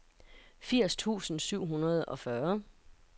firs tusind syv hundrede og fyrre